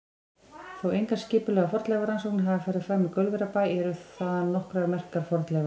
Þótt engar skipulegar fornleifarannsóknir hafi farið fram í Gaulverjabæ eru þaðan nokkrar merkar fornleifar.